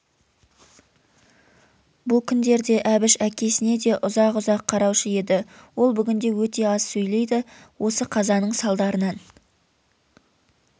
бұл күндерде әбіш әкесіне де ұзақ-ұзақ қараушы еді ол бүгінде өте аз сөйлейді осы қазаның салдарынан